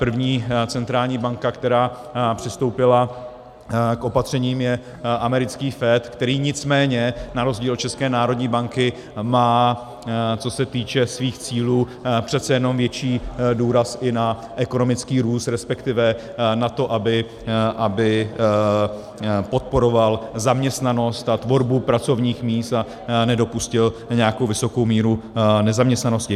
První centrální banka, která přistoupila k opatřením, je americký FED, který nicméně na rozdíl od České národní banky má, co se týče svých cílů, přece jenom větší důraz i na ekonomický růst, respektive na to, aby podporoval zaměstnanost a tvorbu pracovních míst a nedopustil nějakou vysokou míru nezaměstnanosti.